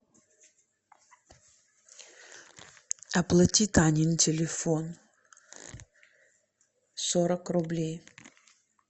оплати танин телефон сорок рублей